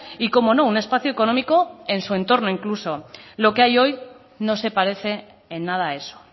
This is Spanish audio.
y cómo no un espacio económico en su entorno incluso lo que hay hoy no se parece en nada a eso